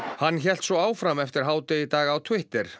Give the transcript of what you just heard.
hann hélt svo áfram eftir hádegi í dag á Twitter